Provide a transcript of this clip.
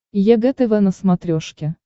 егэ тв на смотрешке